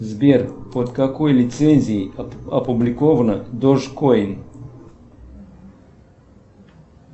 сбер под какой лицензией опубликовано додж койн